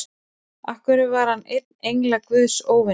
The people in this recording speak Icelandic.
Af hverju var einn engla guðs óvinur?